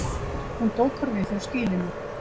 Hún dokar við hjá skýlinu.